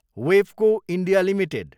Webco India Ltd